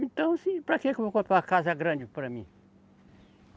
Então, assim para quê que eu vou comprar uma casa grande para mim?